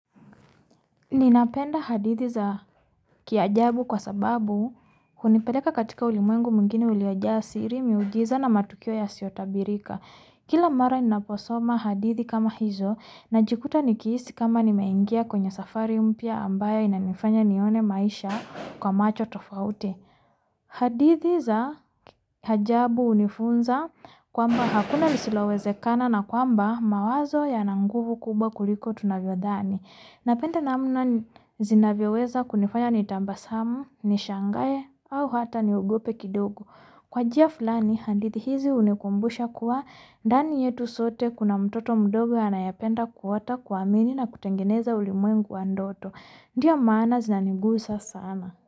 Ninapenda hadithi za kiajabu kwa sababu hunipeleka katika ulimwengu mwingine uliojaa siri miujiza na matukio yasiotabirika. Kila mara ninaposoma hadithi kama hizo najikuta nikihisi kama nimeingia kwenye safari mpya ambayo inanifanya nione maisha kwa macho tofauti. Hadithi za ajabu unifunza kwamba hakuna lisilowezekana na kwamba mawazo yana nguvu kubwa kuliko tunavyodhani. Napenda namna zinavyoweza kunifanya nitabasamu, nishangae, au hata niogope kidogo. Kwa njia fulani hadithi hizi hunikumbusha kuwa ndani yetu sote kuna mtoto mdogo anayependa kuota kuamini na kutengeneza ulimwengu wa ndoto. Ndia maana zinanigusa sana.